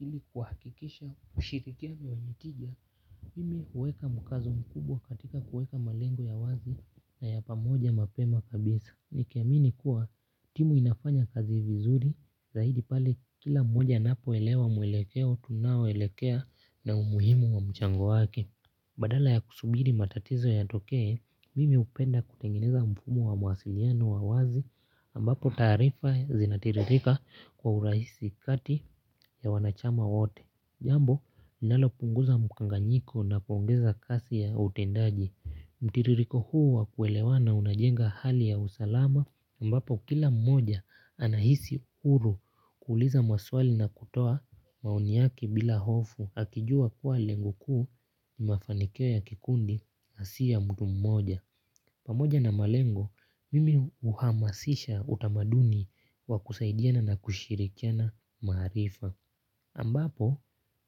Ili kuhakikisha ushirikiano wenye tija mimi huweka mkazo mkubwa katika kuweka malengo ya wazi na ya pamoja mapema kabisa nikiamini kuwa timu inafanya kazi vizuri zaidi pale kila mmoja anapoelewa mwelekeo tunao elekea na umuhimu wa mchango wake. Badala ya kusubiri matatizo yatokee, mimi upenda kutengeneza mfumo wa mawasiliano wa wazi ambapo taarifa zinatiririka kwa urahisi kati ya wanachama wote. Jambo, linalopunguza mukanganyiko na kuongeza kasi ya utendaji. Mtiririko huu wakuelewana unajenga hali ya usalama ambapo kila mmoja anahisi uru kuuliza maswali na kutoa maoni yake bila hofu. Akijua kuwa lengo kuu ni mafanikio ya kikundi na siya mtu mmoja. Pamoja na malengo, mimi uhamasisha utamaduni wa kusaidiana na kushirikiana maarifa. Ambapo,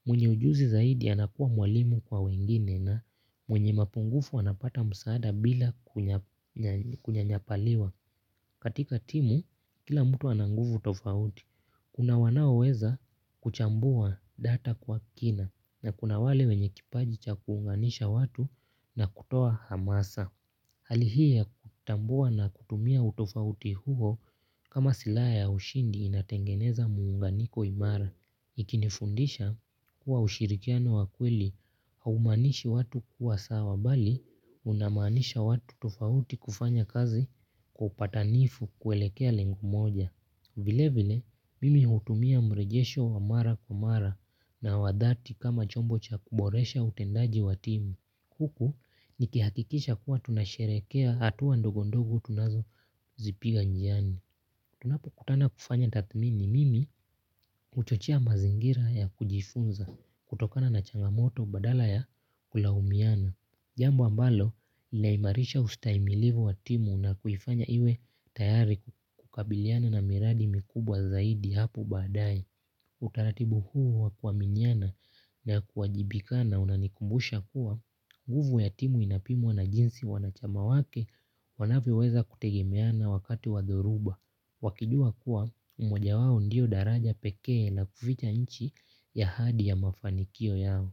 mwenye ujuzi zaidi anakuwa mwalimu kwa wengine na mwenye mapungufu anapata msaada bila kunyanyapaliwa. Katika timu, kila mtu ananguvu tofauti. Kuna wanaoweza kuchambua data kwa kina na kuna wale wenye kipaji cha kuunganisha watu na kutoa hamasa. Hali hii ya kutambua na kutumia utofauti huo kama silaha ya ushindi inatengeneza muunganiko imara. Ikinifundisha kuwa ushirikiano wakweli haumanishi watu huwa sawa bali unamanisha watu tofauti kufanya kazi kwa upatanifu kuelekea lengo moja. Vile vile mimi hutumia mrejesho wa mara kwa mara na wadhati kama chombo cha kuboresha utendaji wa timu. Huku nikihakikisha kuwa tunasherekea hatuwa ndogondogo tunazo zipiga njiani. Tunapo kutana kufanya tathmini mimi huchochea mazingira ya kujifunza kutokana na changamoto badala ya kulaumiana. Jambo ambalo, laimarisha ustaimilivu wa timu na kuifanya iwe tayari kukabiliana na miradi mikubwa zaidi hapo baadae. Utaratibu huu wakwaminiana na kuwajibikana unanikumbusha kuwa, nguvu ya timu inapimwa na jinsi wanachama wake wanavyo weza kutegemeana wakati wadhoruba. Wakijua kuwa, mmoja wao ndio daraja pekee na kufita inchi ya hadi ya mafanikio yao.